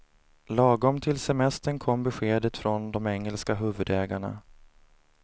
Lagom till semestern kom beskedet från de engelska huvudägarna.